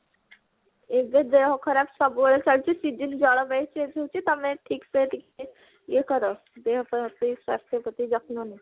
ଏଇନେ ତ ଦେହ ଖରାପ ସବୁଆଡେ ଚାଲିଛି season ଜଳବାୟୁ change ହଉଛି ତମେ ଠିକସେ ଟିକେ ଇଏ କର ଦେହପା ପ୍ରତି ସ୍ୱାସ୍ଥ୍ୟ ପ୍ରତି ଯତ୍ନ ନିଅ